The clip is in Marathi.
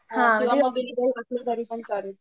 तरीपण चालेल